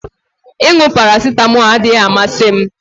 Ịṅụ paracetamol adịghị amasị m